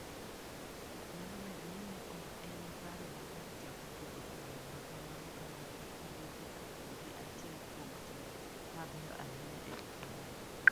Nyalo bedo ni ne ok en paro maber chako tugo e yo ma kamano ka ng'ato tugo gi achiel kuom timbe mabeyo ahinya e Ulaya".